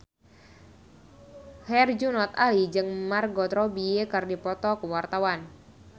Herjunot Ali jeung Margot Robbie keur dipoto ku wartawan